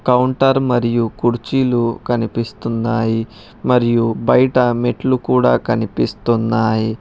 Counter మరియు కుర్చీలు కనిపిస్తున్నాయి మరియు బయట మెట్లు కూడా కనిపిస్తున్నాయు.